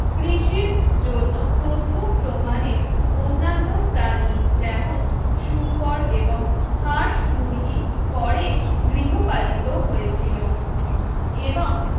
কৃষির জন্য প্রথম প্রমাণের অন্যান্য প্রাণী যেমন শুকর এবং হাঁস, মুরগি পরে গৃহপালিত হয়েছিল এবং